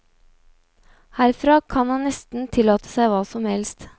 Herfra kan han nesten tillate seg hva som helst.